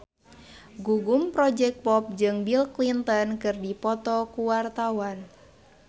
Gugum Project Pop jeung Bill Clinton keur dipoto ku wartawan